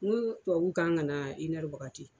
N ko tubabuw kan ka na wagati